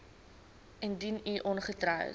indien u ongetroud